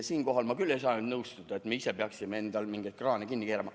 Siinkohal ma küll ei saa nõustuda, et me ise peaksime endal mingeid kraane kinni keerama.